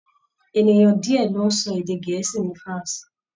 Ènìyàn díẹ̀ ló ń sọ èdè Gẹ̀ẹ́sì ní France.